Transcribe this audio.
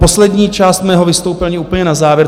Poslední část mého vystoupení, úplně na závěr.